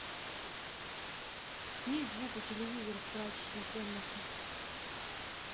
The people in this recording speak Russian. снизь звук у телевизора в прачечной комнате